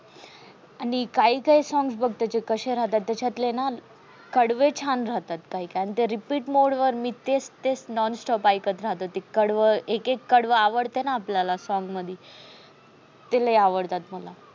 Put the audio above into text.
आणि काही काही songs बघ त्याचे कसे राहतात त्याच्यातले ना कडवे छान राहतात. आणि ते repeat mode वर तेच तेच non stop एकत राहते ते कडव एक एक कडव आवडते न आपल्याला ते लय आवडते मला